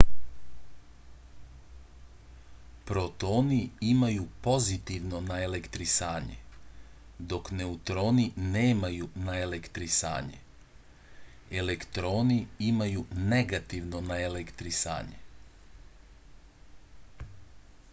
protoni imaju pozitivno naelektrisanje dok neutroni nemaju naelektrisanje elektroni imaju negativno naelektrisanje